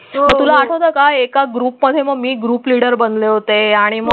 तुला आठवतं का? एका ग्रुपमध्ये? मग मी ग्रुपलीडर बनले होते आणि.